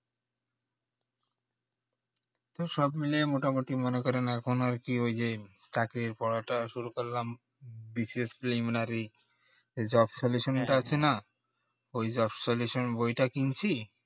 সব মিলেই মোটা মুটি মনে করেন এখন আর কি চাকরির পড়াটা শুরু করলাম BCSpriliminary job-solution এ আছে না ওই যে job-solution বইটা কিনছি